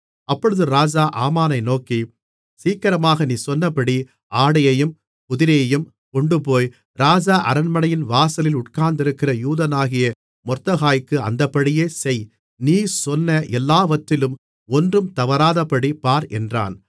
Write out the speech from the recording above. அப்பொழுது ராஜா ஆமானை நோக்கி சீக்கிரமாக நீ சொன்னபடி ஆடையையும் குதிரையையும் கொண்டுபோய் ராஜ அரண்மனையின் வாசலில் உட்கார்ந்திருக்கிற யூதனாகிய மொர்தெகாய்க்கு அந்தப்படியே செய் நீ சொன்ன எல்லாவற்றிலும் ஒன்றும் தவறாதபடி பார் என்றான்